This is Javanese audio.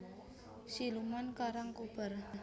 Siluman Karangkobar